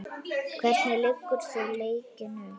Hvernig leggur þú leikinn upp?